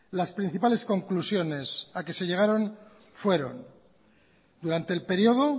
las principales conclusiones a que se llegaron fueron durante el periodo